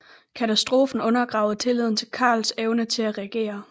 Katastrofen undergravede tilliden til Karls evne til at regere